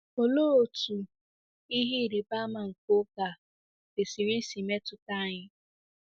Olee otú “ihe ịrịba ama nke oge a” kwesịrị isi metụta anyị?